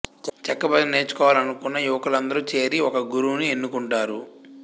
చెక్క భజన నేర్చుకోలాలనుకున్న యువకులందరూ చేరి ఒక గురువుని ఎన్నుకుంటారు